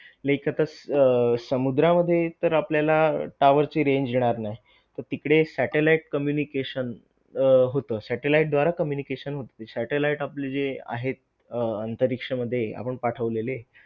Like आता अह समुद्रामध्ये तर आपल्याला tower चे range येणार नाही तर तिकडे satellite communication अह होत satellite द्वारा communication होत satellite आपल जे आहेत अंतरिक्ष मध्ये आपण पाठवलेले.